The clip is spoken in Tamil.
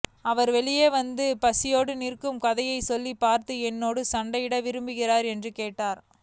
அவர் வெளியே வந்து பசியோடு நிற்கும் கதைசொல்லியை பார்த்து என்னோடு சண்டையிட விரும்புகிறீர்களா எனக் கேட்டார்